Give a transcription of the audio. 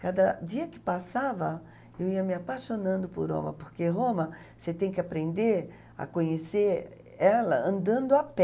Cada dia que passava, eu ia me apaixonando por Roma, porque Roma, você tem que aprender a conhecer ela andando a pé.